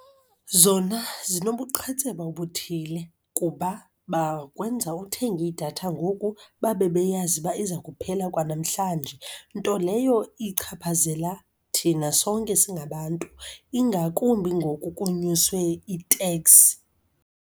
Zona zinobuqhitseba obuthile kuba bakwenza uthenge idatha ngoku babe beyazi uba iza kuphela kwanamhlanje, nto leyo ichaphazela thina sonke singabantu ingakumbi ngoku kunyuswe iteks.